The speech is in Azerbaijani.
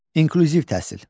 İnklüziv təhsil.